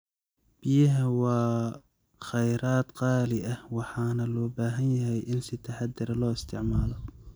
Biyaha waa kheyraad qaali ah waxaana loo baahan yahay in si taxaddar leh loo isticmaalo.